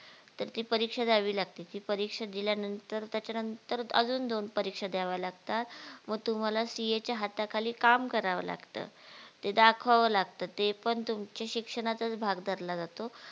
तर ती परीक्षा द्यावी लागती ती परीक्षा दिल्या नंतर त्याच्या नंतर अजून दोन परीक्षा द्याव्या लागतात मग तुम्हाला CA च्या हाताखाली काम करावं लागतं ते दाखवावं लागतं ते पण तुमच्या शिक्षणाचाच भाग धरला जातो